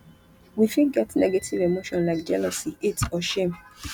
we fit get negative emotion like jealousy hate or shame